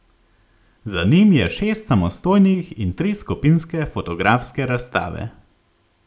Za njim je šest samostojnih in tri skupinske fotografske razstave.